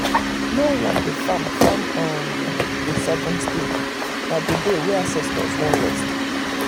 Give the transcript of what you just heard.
no one the farm farm um on the seventh um day na the day wey ancestors want rest.